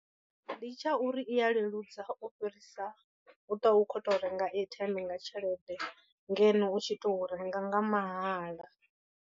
Ndi tsha uri i ya leludza u fhirisa u ṱwa u khou to renga airtime nga tshelede ngeno u tshi tou renga nga mahala.